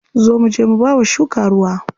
Zo muje mu bawa shuka ruwa.